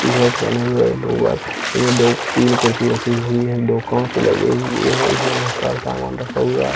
T-shirt पहने हुए है लोग बाग दो तीन कुर्सी रखी हुई है दो काँच लगे हुए है इसमें बहुत समान रखा हुआ है।